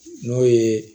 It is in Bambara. N'o ye